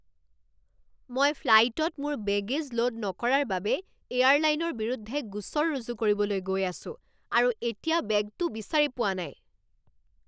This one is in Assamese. মই ফ্লাইটত মোৰ বেগে'জ লোড নকৰাৰ বাবে এয়াৰলাইনৰ বিৰুদ্ধে গোচৰ ৰুজু কৰিবলৈ গৈ আছোঁ আৰু এতিয়া বেগটো বিচাৰি পোৱা নাই।